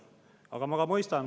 Aga ma mõistan.